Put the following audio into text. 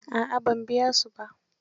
A'a ban biya su ba.